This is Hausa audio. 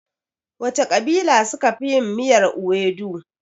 Wace ƙabila suka fi yin miyar iwedu?